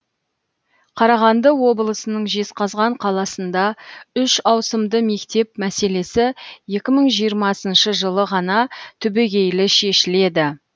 қарағанды облысының жезқазған қаласында үш ауысымды мектеп мәселесі екі мың жиырмасыншы жылы ғана түбегейлі шешіледі